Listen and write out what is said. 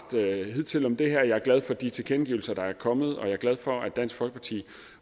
hidtil om det her jeg er glad for de tilkendegivelser der er kommet og jeg er glad for at dansk folkeparti